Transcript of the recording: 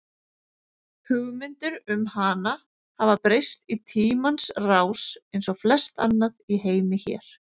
Hugmyndir um hana hafa breyst í tímans rás eins og flest annað í heimi hér.